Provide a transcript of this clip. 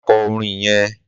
Má kọ orin yẹn!